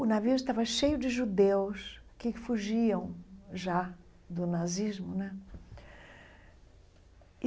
O navio estava cheio de judeus que fugiam já do nazismo né.